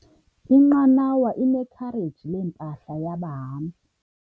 Inqanawa inekhareji lempahla yabahambi.